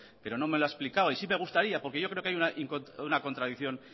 pero no me lo ha explicado y sí me gustaría porque yo creo que hay una contradicción